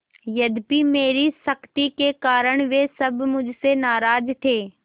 यद्यपि मेरी सख्ती के कारण वे सब मुझसे नाराज थे